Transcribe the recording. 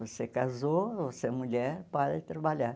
Você casou, você é mulher, para de trabalhar.